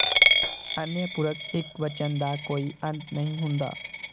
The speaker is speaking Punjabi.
ਅਨਯ ਪੁਰਖ ਇਕਵਚਨ ਦਾ ਕੋਈ ਅੰਤ ਨਹੀਂ ਹੁੰਦਾ